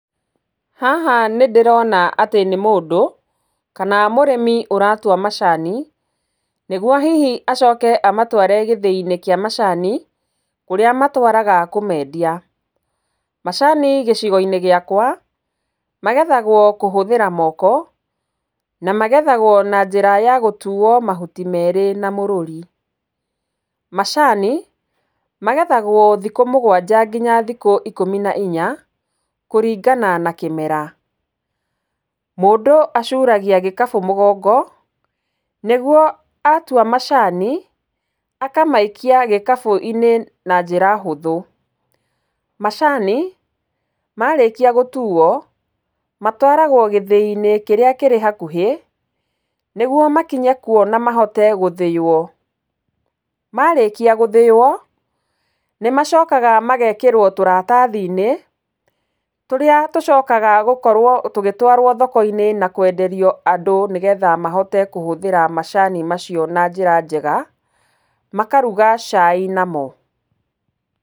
Haha nĩ ndĩrona atĩ nĩ mũndũ kana mũrĩmi ũratua macani nĩguo hihi acoke amatware gĩthĩi-inĩ kĩa macani kũrĩa matwaraga kũmendia. Macani gĩcigo-inĩ gĩakwa magethagwo kũhũthĩra moko na magethagwo na njĩra ya gũtuo mahuti merĩ na mũrũri. Macani magethagwo thikũ mũgwanja nginya thikũ ikũmi na inya kũringana na kĩmera. Mũndũ acuragia gĩkabũ mũgongo nĩguo atua macani akamaikia gĩkabũ-inĩ na njĩra hũthũ. Macani marĩkia gũtuo matwaragwo gĩthĩi-inĩ kĩrĩa kĩrĩ hakuhĩ nĩguo makinye kuo na mahote gũthĩywo. Marĩkia gũthĩywo nĩ macokaga magekĩrwo tũratathi-inĩ tũrĩa tũcokaga gũkorwo tũgĩtwarwo thoko-inĩ na kwenderia andũ nĩgetha mahote kũhũthĩra macani macio na njĩra njega. Makaruga cai namo.